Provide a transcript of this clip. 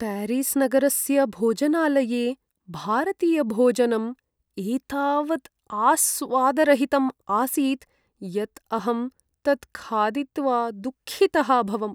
प्यारिस्नगरस्य भोजनालये भारतीयभोजनम् एतावत् आस्वादरहितम् आसीत् यत् अहं तत् खादित्वा दुःखितः अभवम्।